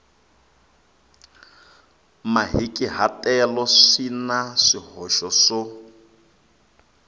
mahikahatelo swi na swihoxo swo